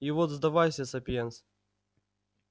и вот сдавайся сапиенс